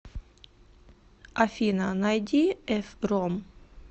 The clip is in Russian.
афина найди эф ром